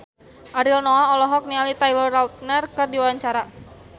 Ariel Noah olohok ningali Taylor Lautner keur diwawancara